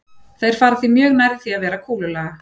Þeir fara því mjög nærri því að vera kúlulaga.